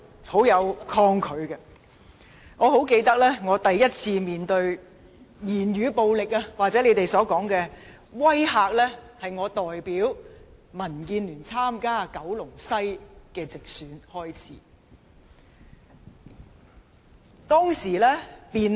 我清楚記得，我第一次面對語言暴力或大家所說的"威嚇"，是在我代表民建聯參加九龍西直選時。